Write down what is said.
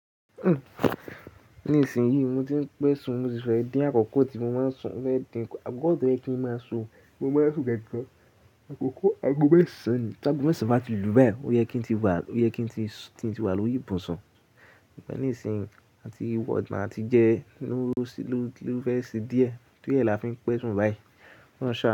Nísìnyí, mo ti ń pẹ̀sùn mo si fẹ́ dín àkókò tí mo máa ń sùn mo fe dìnkù. Akoko to ye kí ń máa sùn, ti mo máa ń sùn gangan. Àkókò-- ago mẹ́sàn-án ni ti aago mẹ́sàn-án bá ti lù báyìí, ó yẹ kí ń ti wà lórì ìbùsùn. Sugbon ní isìnyì, àti wọ oná ati jẹ́ ló fi fẹ́ ṣe díẹ̀, tóriẹ la fi ń pẹ̀sùn báyìí. Ki olohun saanu.